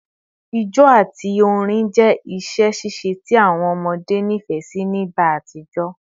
Ijó ati orin jẹ awọn iṣẹ ṣiṣe ti awọn ọmọde nifẹ si ni igba atijọ